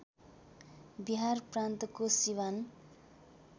बिहार प्रान्तको सिवान